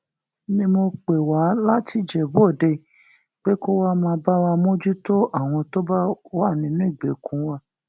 ni mo pè wá láti ìjẹbúòde pé kó wàá máa bá wa mójútó àwọn tó bá wà nínú ìgbèkùn wa